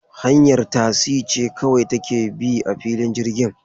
Hanyar tasi ce kawai take bi a filin jirgin.